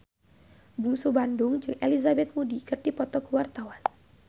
Bungsu Bandung jeung Elizabeth Moody keur dipoto ku wartawan